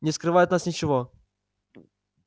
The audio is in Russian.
не скрывай от нас ничего